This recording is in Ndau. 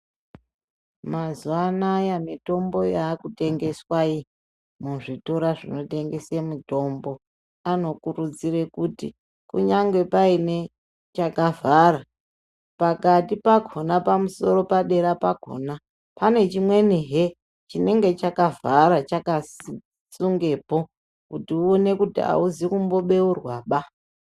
Mazuwa anaya mutombo yakutengeswa iyi muzvitoro zvinotengese mutombo anokurudzira kuti kunyange paine chakavhara pakati pakhona pamusoro padera pakhona pane chimweni he chinenge chakavhara chinenge chakasi sungepo kuti uone kuti auxi kumbobeurwaba.